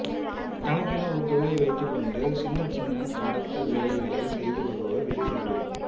தனக்கென ஒரு கொள்கை வைத்துக் கொண்டு சின்னச் சின்ன கடத்தல் வேலைகளைச் செய்து வருபவர் விஜய் சேதுபதி